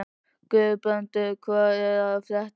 Guðbrandur, hvað er að frétta?